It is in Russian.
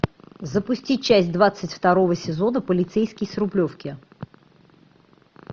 запусти часть двадцать второго сезона полицейский с рублевки